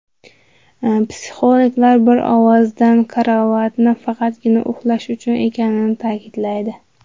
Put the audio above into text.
Psixologlar bir ovozdan karavotni faqatgina uxlash uchun ekanini ta’kidlaydi.